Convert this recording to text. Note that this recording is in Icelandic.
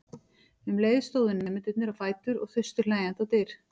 Um leið stóðu nemendurnir á fætur og þustu hlæjandi á dyr.